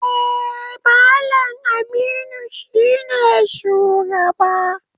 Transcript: Eh, Mallam Aminu shine shugaba.